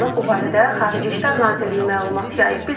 Bu barədə Xarici İşlər Nazirliyi məlumat yayıb.